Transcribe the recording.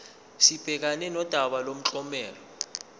sibhekane nodaba lomklomelo